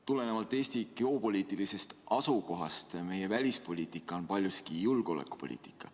Tulenevalt Eesti geopoliitilisest asukohast on meie välispoliitika paljuski julgeolekupoliitika.